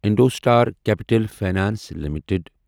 IndoStar Capital Finance limited